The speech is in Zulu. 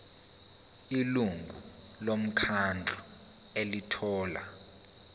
ilungu lomkhandlu elithola